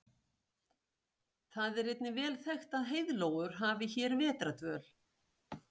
Það er einnig vel þekkt að heiðlóur hafi hér vetrardvöl.